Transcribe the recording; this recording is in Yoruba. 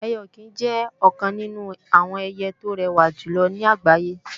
Ẹyẹ-ọ̀kín jẹ́ ọ̀kan nínú àwọn ẹyẹ tó rẹwà jùlọ ní àgbáyé